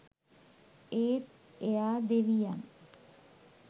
ඒත් එයා දෙවියන්